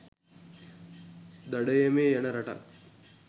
දඩයමේ යන රටක්